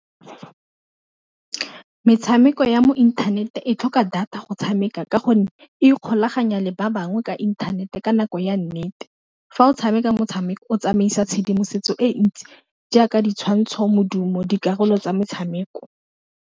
Metshameko ya mo inthaneteng e tlhoka data go tshameka ka gonne e ikgolaganya le ba bangwe ka inthanete ka nako ya nnete, fa o tshameka motshameko o tsamaisa tshedimosetso e ntsi jaaka di tshwantshoz modumo, dikarolo tsa metshameko.